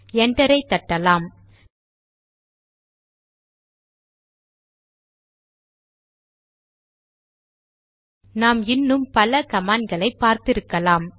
என்டரை தட்டலாம் நாம் இன்னும் பலகமாண்ட் களை பார்த்திருக்கலாம்